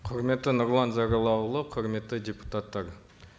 құрметті нұрлан зайроллаұлы құрметті депутаттар